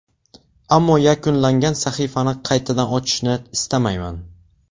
Ammo yakunlangan sahifani qaytadan ochishni istamayman.